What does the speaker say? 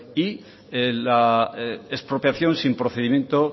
y la expropiación sin procedimiento